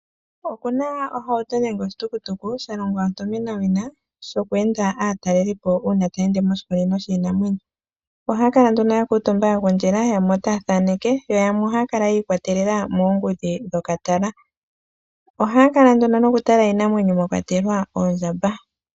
Okuna ohauto nenge oshitukutuku, shalongwa ontomenawina shoku enda aatalelipo, uuna taya ende moshikunino shiinamwenyo. Ohaya kala nduno ya kuuntumba ya gundjila, yamwe otaya thaaneke, yo yamwe ohaya kala yiikwatelela moongudhi dhokatala. Ohaya kala nduno nokutala iinamwenyo mwa kwatelwa oondjamba.